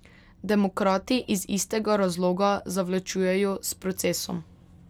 Demokrati iz istega razloga zavlačujejo s procesom.